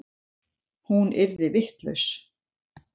Hún yrði vitlaus.